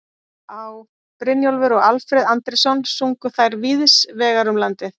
Á., Brynjólfur og Alfreð Andrésson sungu þær víðs vegar um landið.